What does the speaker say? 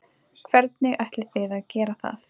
Hvernig ætlið þið að gera það?